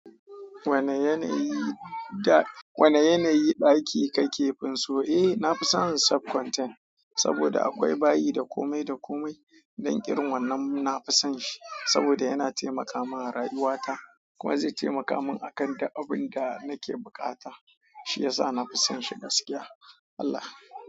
Wane yanayi, ɗaki kake finso? Eh, na fi son sub-conten saboda akwai bayi da komai da komai ɗanƙirin wannan na fi son shi saboda yana taimaka min a rayuwata. Kuma zai taimaka min akan duk abin da nake buƙata. Shi ya sa na fi son shi gaskiya. Allah.